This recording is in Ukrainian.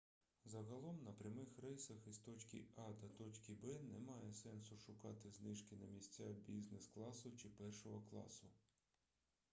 загалом на прямих рейсах із точки а до точки б немає сенсу шукати знижки на місця бізнес-класу чи першого класу